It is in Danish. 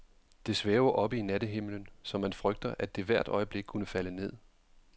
Det svæver oppe i nattehimlen, så man frygter, at det hvert øjeblik kunne falde ned.